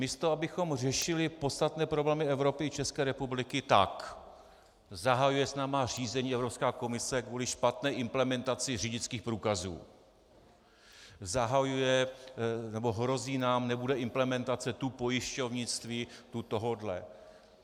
Místo abychom řešili podstatné problémy Evropy i České republiky, tak - zahajuje s námi řízení Evropská komise kvůli špatné implementaci řidičských průkazů, zahajuje nebo hrozí nám, nebude implementace tu pojišťovnictví, tu tohohle.